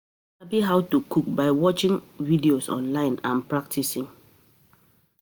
Persin fit sabi how to cook by watching videos online and practicing